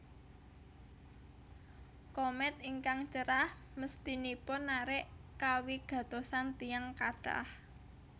Komèt ingkang cerah mesthinipun narik kawigatosan tiyang kathah